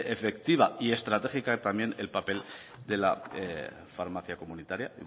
efectiva y estratégica también el papel de la farmacia comunitaria